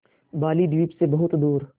बालीद्वीप सें बहुत दूर